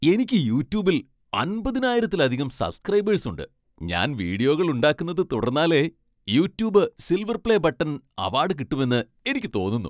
എനിക്ക് യൂട്യൂബിൽ അമ്പതിനായിരത്തിലധികം സബ്സ്ക്രൈബേഴ്സ് ഉണ്ട് . ഞാൻ വീഡിയോകൾ ഉണ്ടാക്കുന്നത് തുടർന്നാലേ "YouTube silver play button" award കിട്ടുമെന്ന് എനിയ്ക്കു തോന്നുന്നു.